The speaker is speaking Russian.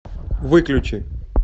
выключи